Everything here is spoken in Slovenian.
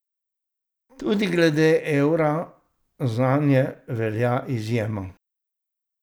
Tudi glede evra zanje velja izjema.